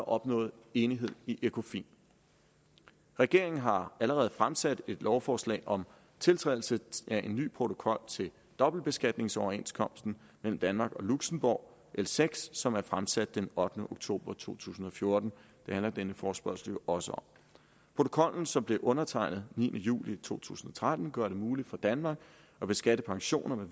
opnået enighed i ecofin regeringen har allerede fremsat et lovforslag om tiltrædelse af en ny protokol til dobbeltbeskatningsoverenskomsten mellem danmark og luxembourg l seks som er fremsat den ottende oktober to tusind og fjorten det handler denne forespørgsel jo også om protokollen som blev undertegnet niende juli to tusind og tretten gør det muligt for danmark at beskatte pensioner